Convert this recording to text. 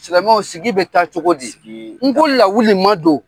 Silamɛw sigi bɛ taa cogo di n ko lawu ma don